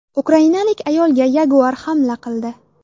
Ukrainalik ayolga yaguar hamla qildi.